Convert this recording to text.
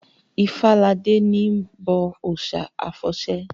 Ifáladé n bọ òòsà àfọ̀sẹ